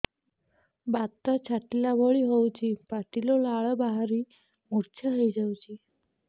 ବାତ ଛାଟିଲା ଭଳି ହଉଚି ପାଟିରୁ ଲାଳ ବାହାରି ମୁର୍ଚ୍ଛା ହେଇଯାଉଛି